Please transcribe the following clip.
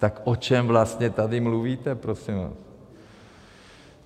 Tak o čem vlastně tady mluvíte prosím vás?